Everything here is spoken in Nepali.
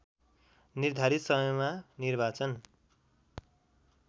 निर्धारित समयमा निर्वाचन